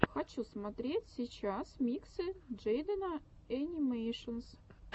хочу смотреть сейчас миксы джейдена энимэйшенс